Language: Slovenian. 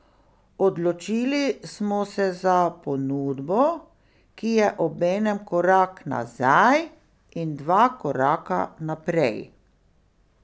Odločili smo se za ponudbo, ki je obenem korak nazaj in dva koraka naprej.